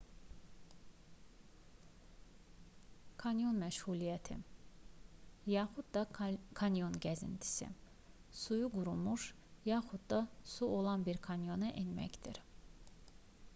kanyon məşğuliyyəti yaxud da kanyon gəzintisi suyu qurumuş yaxud da su olan bir kanyona enməkdir